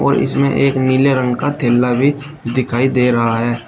और इसमे एक नीले रंग का थेल्ला भी दिखाई दे रहा है।